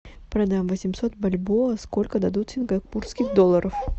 продам восемьсот бальбоа сколько дадут сингапурских долларов